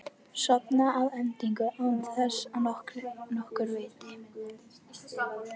Sofna að endingu án þess að nokkur viti.